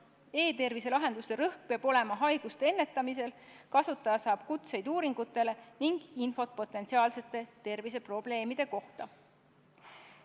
E-tervise lahenduste rõhk peab olema haiguste ennetamisel, kasutaja saab kutseid uuringutele ning infot potentsiaalsete terviseprobleemide kohta.